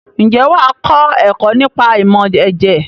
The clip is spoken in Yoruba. Ǹjẹ́ wà á kọ́ ẹ̀kọ́ nípa ìmọ̀ ẹ̀jẹ̀?